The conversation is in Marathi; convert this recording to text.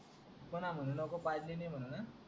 पुन्हा म्हणू नको पाजली नाय म्हणून